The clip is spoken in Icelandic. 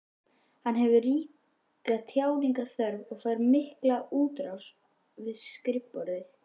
Hann hefur ríka tjáningarþörf og fær mikla útrás við skrifborðið.